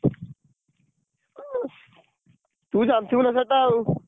ତୁ ଜାଣିଥିବୁ ନା ସେଇଟା ଆଉ।